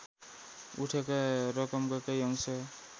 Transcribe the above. उठेका रकमका केही अंश